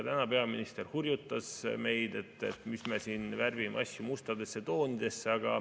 Täna peaminister hurjutas meid, et mis me siin värvime asju mustadesse toonidesse.